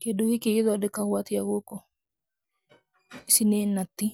Kĩndũ gĩkĩ gũthondekagwo atĩa gũkũ? Ici nĩ nati,